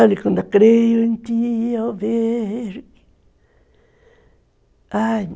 Ali quando eu creio em ti, eu vejo.